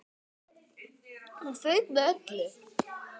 Hún fauk með öllu.